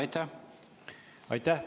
Aitäh!